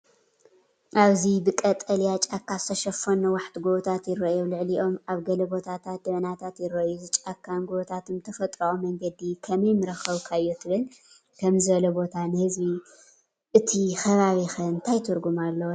ኣብዚ ብቀጠልያ ጫካ ዝተሸፈኑ ነዋሕቲ ጎቦታት ይረኣዩ። ኣብ ልዕሊኦም ኣብ ገለ ቦታታት ደበናታት ይረኣዩ። እዚ ጫካን ጎቦታትን ብተፈጥሮኣዊ መንገዲ ከመይ ምረኸብካዮ ትብል፡ ከምዚ ዝበለ ቦታ ንህዝቢ እቲ ከባቢኸ እንታይ ትርጉም ኣለዎ ትብል?